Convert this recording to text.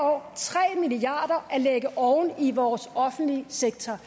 år tre milliard at lægge oven i vores offentlige sektor